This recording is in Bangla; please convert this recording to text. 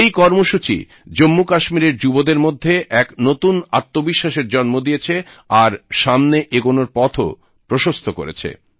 এই কর্মসূচী জম্মুকাশ্মীরের যুবদের মধ্যে এক নতুন আত্মবিশ্বাসের জন্ম দিয়েছে আর সামনে এগোনোর পথও প্রশস্ত করেছে